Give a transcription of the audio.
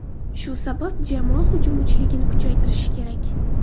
Shu sabab jamoa hujum uchligini kuchaytirishi kerak.